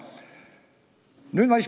Ma tahan nüüd küsida.